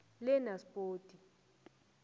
lenaspoti